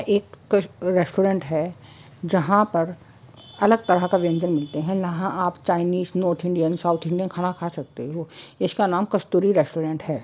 एक कस रेस्टोरेंट है जहां पर अलग तरह का व्यंजन मिलते हैं इहा आप Chinese north Indian south Indian खाना खा सकते हो इसका नाम कस्तूरी रेस्टोरेंट है।